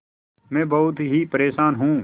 मैं बहुत ही परेशान हूँ